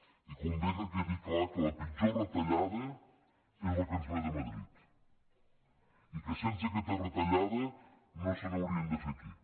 i convé que quedi clar que la pitjor retallada és la que ens ve de madrid i que sense aquesta retallada no se n’haurien de fer aquí